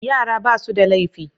Yara ba' su da laifi.